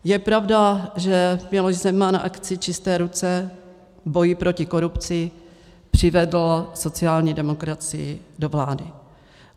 Je pravda, že Miloš Zeman v akci "čisté ruce", v boji proti korupci, přivedl sociální demokracii do vlády.